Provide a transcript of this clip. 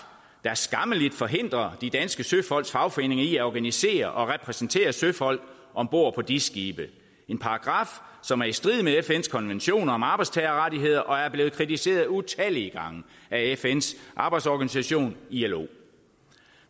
der skammeligt forhindrer de danske søfolks fagforeninger i at organisere og repræsentere søfolk om bord på dis skibe en paragraf som er i strid med fns konvention om arbejdstagerrettigheder og er blevet kritiseret utallige gange af fns arbejdsorganisation ilo